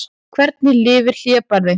Hvernig lifir hlébarði?